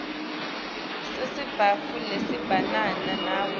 besitsatfu lesebentisana nabo